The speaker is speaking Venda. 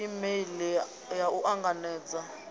e meili ya u anganedza